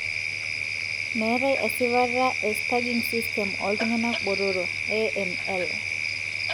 meetae esipata e staging system oltungana botoro, AML.